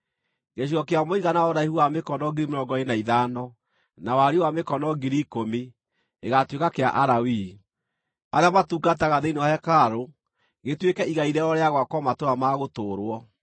Gĩcigo kĩa mũigana wa ũraihu wa mĩkono 25,000, na wariĩ wa 10,000 gĩgaatuĩka kĩa Alawii, arĩa matungataga thĩinĩ wa hekarũ, gĩtuĩke igai rĩao rĩa gwakwo matũũra ma gũtũũrwo.